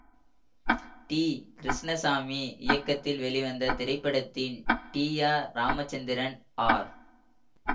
D Krishnaswamy இயக்கத்தில் வெளிவந்த இத்திரைப்படத்தில் டி ஆர் ராமச்சந்திரன் ஆர்